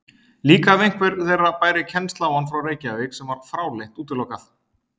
Líka ef einhver þeirra bæri kennsl á hann frá Reykjavík, sem var fráleitt útilokað.